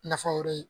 Nafa wɛrɛ ye